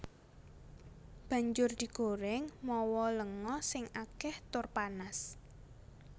Banjur digorèng mawa lenga sing akèh tur panas